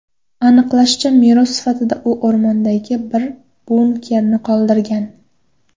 Aniqlanishicha, meros sifatida u o‘rmondagi bir bunkerni qoldirgan.